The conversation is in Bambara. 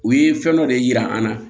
U ye fɛn dɔ de yira an na